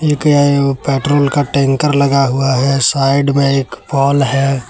जोकि एक पेट्रोल का टैंकर लगा हुआ है साइड में एक पोल है।